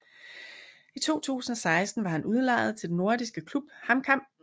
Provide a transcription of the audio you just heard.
I 2006 var han udlejet til den norske klub HamKam